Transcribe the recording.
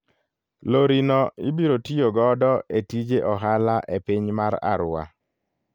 Lori no ibiro tiyo godo e tije ohala e piny mar Arua.